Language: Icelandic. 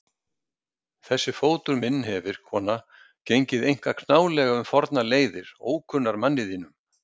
Þessi fótur minn hefir, kona, gengið einkar knálega um fornar leiðir, ókunnar manni þínum.